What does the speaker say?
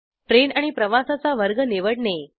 ट्रेनरेल्वे आणि प्रवासाचा वर्ग निवडणे